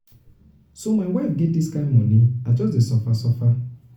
so my wife get dis kind moni i just dey suffer suffer.